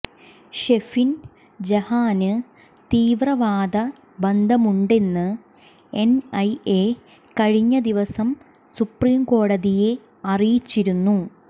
ഷെഫിൻ ജഹാന് തീവ്രവാദ ബന്ധമുണ്ടെന്ന് എൻ ഐ എ കഴിഞ്ഞദിവസം സുപ്രീംകോടതിയെ അറിയിച്ചിരുന്നു